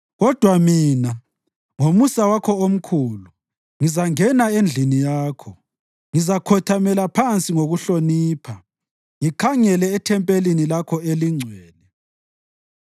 Kodwa mina, ngomusa wakho omkhulu, ngizangena endlini yakho; ngizakhothamela phansi ngokuhlonipha ngikhangele ethempelini lakho elingcwele.